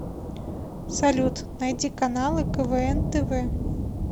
салют найди каналы квн тв